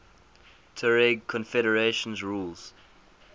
tuareg confederations ruled